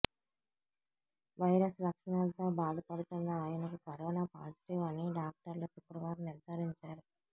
virus లక్షణాలతో బాధపడుతోన్న ఆయనకు కరోనా పాజిటివ్ అని డాక్టర్లు శుక్రవారం నిర్ధారించారు